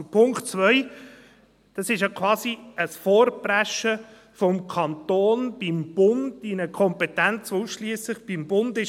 Zu Punkt 2: Das ist quasi ein Vorpreschen des Kantons beim Bund in eine Kompetenz, die ausschliesslich beim Bund ist.